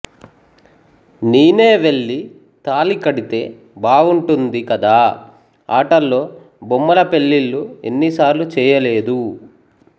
నేనే వెళ్ళి తాళి కడితే బావుంటుంది కదా ఆటల్లో బొమ్మల పెళ్ళిళ్ళు ఎన్ని సార్లు చెయ్యలేదూ